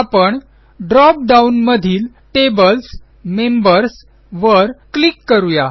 आपण drop down मधीलTables members वर क्लिक करू या